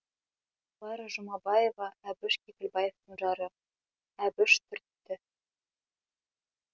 клара жұмабаева әбіш кекілбаевтың жары әбіш түртті